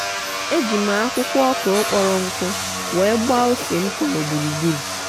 eji m akwukwo okro kporonku wee gbaa ose m nkoro gburugburu.